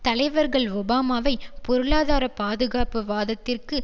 தலைவர்கள் ஒபாமாவை பொருளாதார பாதுகாப்பு வாதத்திற்கு